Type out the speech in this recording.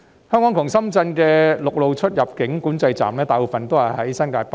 香港與深圳之間的陸路出入境管制站，大部分位於新界北。